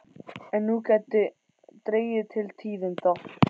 En nú gæti dregið til tíðinda.